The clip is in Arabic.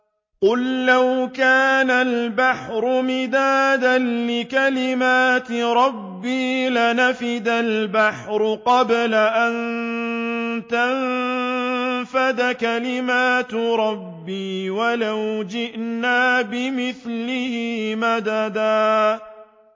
قُل لَّوْ كَانَ الْبَحْرُ مِدَادًا لِّكَلِمَاتِ رَبِّي لَنَفِدَ الْبَحْرُ قَبْلَ أَن تَنفَدَ كَلِمَاتُ رَبِّي وَلَوْ جِئْنَا بِمِثْلِهِ مَدَدًا